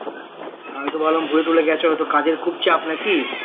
আমি তো ভাবলাম ভুলে টুলে গেছো হয়তো কাজের খুব চাপ নাকি